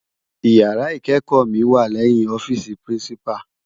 Iyàrá ikékò mi wá lèyin òfisi pirinsipá